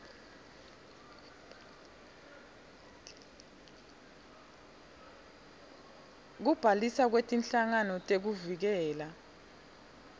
kubhaliswa kwetinhlangano tekuvikela